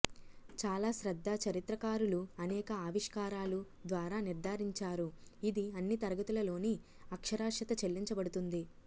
చాలా శ్రద్ధ చరిత్రకారులు అనేక ఆవిష్కారాలు ద్వారా నిర్ధారించారు ఇది అన్ని తరగతులలోని అక్షరాస్యత చెల్లించబడుతుంది